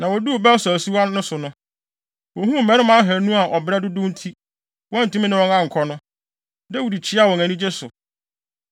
Na woduu Besor asuwa no so no, wohuu mmarima ahannu a ɔbrɛ dodow nti, wɔantumi ne wɔn ankɔ no. Dawid kyiaa wɔn anigye so.